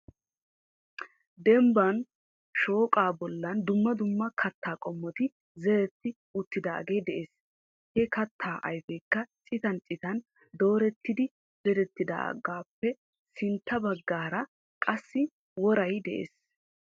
Dembban shooqa bollan dumma dumma kattaa qommoti zeretti uttidaage de'ees He kattaa ayfekka citan citan doorettidi zerettidaagappe sintta baggaara qassi woray de'ees.